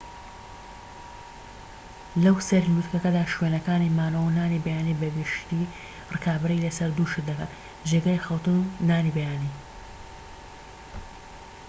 لەوسەری لوتکەدا شوێنەکانی مانەوە و نانی بەیانی بە گشتیی ڕکابەری لەسەر دوو شت دەکەن جێگەی خەوتن و نانی بەیانی